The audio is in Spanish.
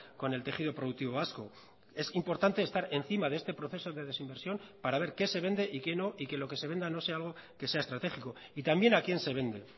con el tejido productivo vasco es importante estar encima de este proceso de desinversión para ver qué se vende y que no y que lo que se venda no sea algo que sea estratégico y también a quién se vende